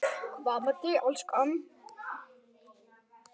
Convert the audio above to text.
Hvað með þig, elskan.